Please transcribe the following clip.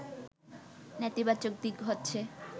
“নেতিবাচক দিক হচ্ছে